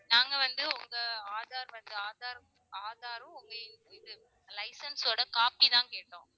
நாங்க வந்து உங்க aadhar வந்து aadhar aadhaar ம் உங்க இது licence ஓட copy தான் கேட்டோம்